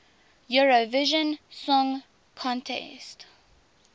eurovision song contest